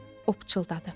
O pıçıldadı.